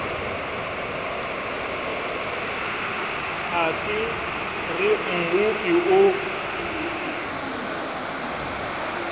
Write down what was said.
ha se re mmopi o